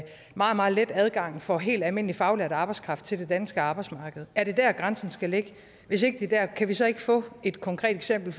meget meget let adgang for helt almindelig faglært arbejdskraft til det danske arbejdsmarked er det der grænsen skal ligge hvis ikke det er der kan vi så ikke få et konkret eksempel